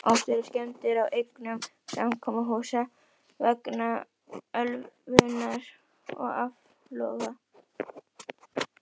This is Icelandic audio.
Oft urðu skemmdir á eignum samkomuhúsa vegna ölvunar og áfloga.